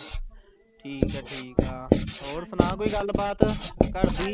ਠੀਕ ਹੈ ਠੀਕ ਆ ਹੋਰ ਸੁਣਾ ਕੋਈ ਗੱਲਬਾਤ ਘਰਦੀ।